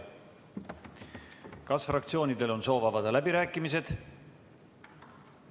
Kas fraktsioonidel on soovi avada läbirääkimised?